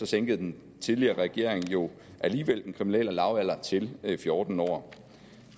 sænkede den tidligere regering jo alligevel den kriminelle lavalder til fjorten år